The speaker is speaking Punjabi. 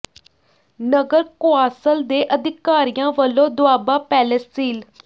ਨਗਰ ਕੌ ਾਸਲ ਦੇ ਅਧਿਕਾਰੀਆਂ ਵੱਲੋਂ ਦੋਆਬਾ ਪੈਲੇਸ ਸੀਲ